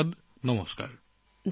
ধন্যবাদ নমস্কাৰ